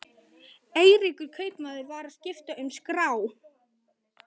Eiríkur kaupmaður var að skipta um skrá.